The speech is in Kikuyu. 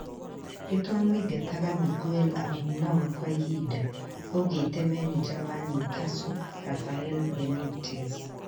"Nitwamũingataga Miguel Almiron kwa ihinda,"augĩte maneja wa Newscatle Rafael Benitez